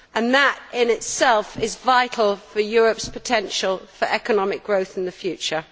That, in itself, is vital for Europe's potential for economic growth in the future.